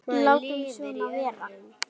Látum svona vera.